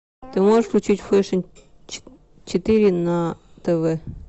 ты можешь включить фэшн четыре на тв